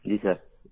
जी sir